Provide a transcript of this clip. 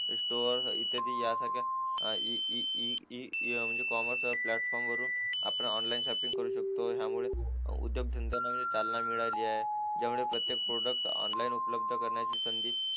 त्यादी यासारख्या e e e e commerce प्लॅटफॉर्मवरून ऑनलाइन शॉपिंग करू शकतो यामुळे उद्योगधंदे नाही चालना मिळाली आहे ज्यामुळे प्रत्येक क्षेत्र त ऑनलाइन उपलब्ध संधी